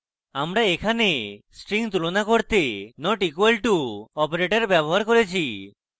আমরা এখানে strings তুলনা করতে notequal to operator ব্যবহার করেছি